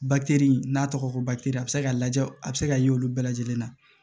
n'a tɔgɔ ko a bɛ se ka lajɛ a bɛ se ka ye olu bɛɛ lajɛlen na